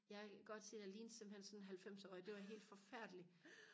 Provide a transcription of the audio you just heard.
jeg kan godt sige dig jeg lignede simpelthen sådan en halvfemsårig det var helt forfærdeligt